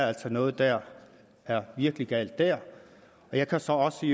er noget der er virkelig galt jeg kan så også